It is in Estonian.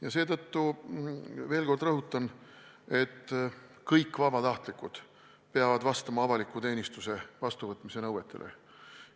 Ja seetõttu – veel kord rõhutan – kõik vabatahtlikud peavad vastama avalikku teenistusse vastuvõtmise nõuetele.